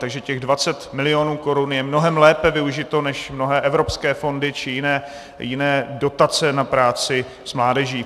Takže těch 20 mil. korun je mnohem lépe využito než mnohé evropské fondy či jiné dotace na práci s mládeží.